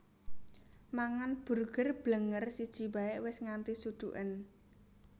Mangan Burger Blenger siji bae wis nganti suduken